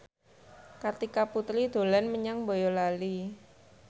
Kartika Putri dolan menyang Boyolali